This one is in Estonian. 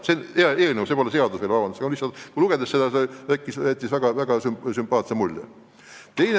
See on eelnõu, see pole veel seadus, aga lugedes jäi sellest väga sümpaatne mulje.